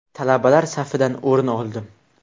Talabalar safidan o‘rin oldim.